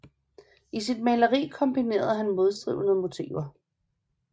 I sit maleri kombinerede han modstridende motiver